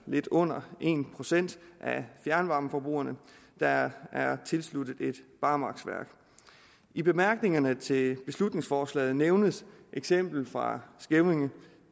lidt under en procent af fjernvarmeforbrugerne der er er tilsluttet et barmarksværk i bemærkningerne til beslutningsforslaget nævnes eksemplet fra skævinge